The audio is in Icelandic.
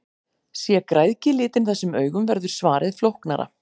Sé græðgi litin þessum augum verður svarið flóknara.